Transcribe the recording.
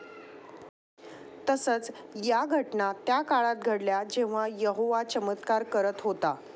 तसंच, या घटना त्या काळात घडल्या जेव्हा यहोवा चमत्कार करत होता.